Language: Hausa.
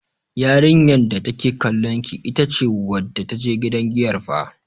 Yarinyar da take kallon ki, ita ce wadda ta je gidan giyar fah.